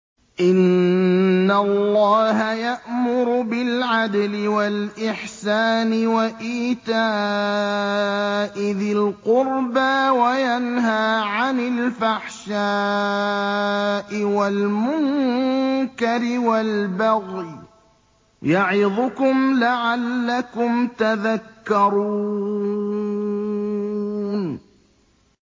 ۞ إِنَّ اللَّهَ يَأْمُرُ بِالْعَدْلِ وَالْإِحْسَانِ وَإِيتَاءِ ذِي الْقُرْبَىٰ وَيَنْهَىٰ عَنِ الْفَحْشَاءِ وَالْمُنكَرِ وَالْبَغْيِ ۚ يَعِظُكُمْ لَعَلَّكُمْ تَذَكَّرُونَ